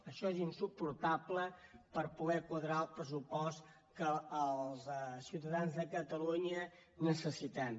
això és insuportable per poder quadrar el pressupost que els ciutadans de catalunya necessitem